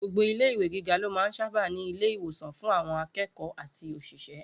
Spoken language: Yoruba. Gbogbo ilé ìwé gíga ló máa sábà ń ní ilé ìwòsàn fún àwọn akẹ́kọ̀ọ́ àti òṣìṣẹ́